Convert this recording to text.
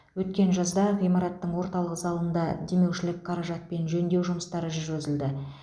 өткен жазда ғимараттың орталық залында демеушілік қаражатпен жөндеу жұмыстары жүргізілді